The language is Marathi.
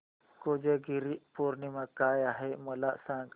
कोजागिरी पौर्णिमा काय आहे मला सांग